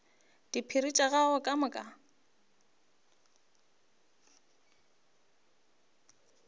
diphiri tša gagwe ka moka